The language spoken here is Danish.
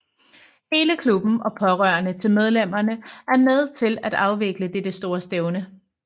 Hele klubben og pårørende til medlemmerne er med til afvikle dette store stævne